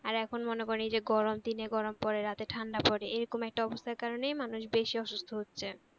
আর এখন মনে করেন এই যে গরম দিনে গরম পরে রাতে ঠাণ্ডা পরে এইরকম একটা অবস্থার কারনেই মানুষ বেশি অসুস্থ হচ্ছে